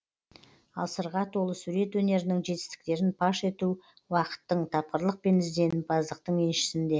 ал сырға толы сурет өнерінің жетістіктерін паш ету уақыттың тапқырлық пен ізденімпаздықтың еншісінде